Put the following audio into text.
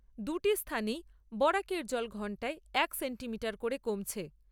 দুটি স্থানেই বরাকের জল ঘন্টায় এক সেন্টিমিটার করে কমছে।